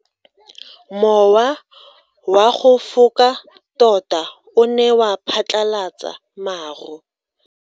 Mowa o wa go foka tota o ne wa phatlalatsa maru.